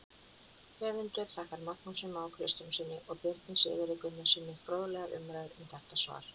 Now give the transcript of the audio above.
Höfundur þakkar Magnúsi Má Kristjánssyni og Birni Sigurði Gunnarssyni fróðlegar umræður um þetta svar.